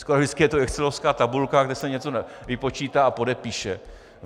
Skoro vždycky je to excelovská tabulka, kde se něco vypočítá a podepíše.